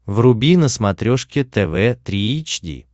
вруби на смотрешке тв три эйч ди